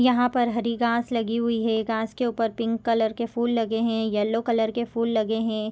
यहाँ पर हरी घास लगी हुई है घास के ऊपर पिंक कलर के फूल लगे है येलो कलर के फूल लगे है।